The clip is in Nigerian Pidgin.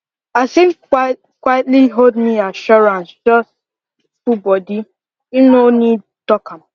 as him quitely hold me assurance just full body him no need talk am